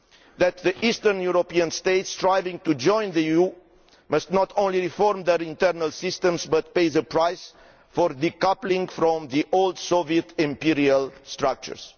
and that the Eastern European states striving to join the EU must not only reform their internal systems, but pay the price for decoupling from the old Soviet imperial structures.